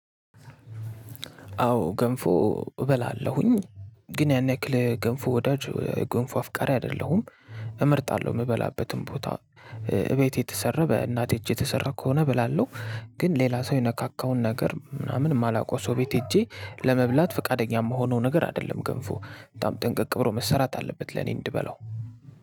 አዎ ገንፎ እበላለሁኝ ግን ያን ያክል ገንፎ ወዳጅ ገንፎ አፍቃሪ አይደለሁም። እመርጣለሁ የምበላበትን ቦታ እቤት የተሰራ በእናቴ እጅ የተሰራ ከሆነ እበላለሁ። ግን ሌላ ሰው የነካካውን ነገር ምናምን የማላውቀው ሰው ቤት ሄጄ ለመብላት ፈቃደኛ የምሆነው ነገር አይደለም። ገንፎ በጣም ጥንቅቅ ብሮ መሰራት አለበት ለኔ እንድበላው።